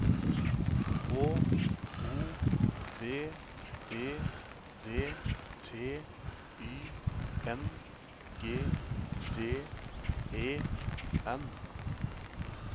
H O V E D T Y N G D E N